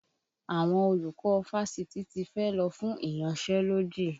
Àwọn olùkọ́ fásitì tí fẹ́ lọ fún ìyansẹ́lódì